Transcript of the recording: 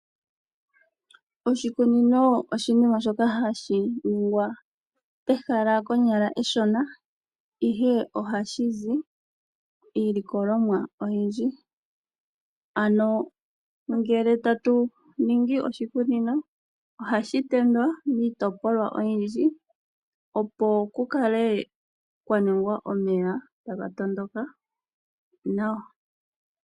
Oshikunino oshinima shoka hashi ningwa konyala ehala eshona, ihe ohashi zi iilikolomwa oyindji. Ano ngele tatu ningi oshikunino ohashi tendwa miitopolwa oyindji opo kukale kwa ningwa omeya taga tondoka nawa.